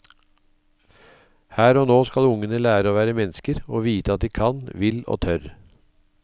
Her og nå skal ungene lære å være mennesker og vite at de kan, vil og tør.